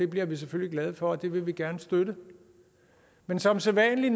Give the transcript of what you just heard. bliver vi selvfølgelig glade for og det vil vi gerne støtte men som sædvanlig